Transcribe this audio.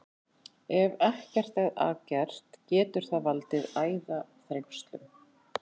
Ef ekkert er að gert getur það valdið æðaþrengslum.